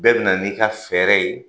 Bɛɛ bɛna na n'i ka fɛɛrɛ ye.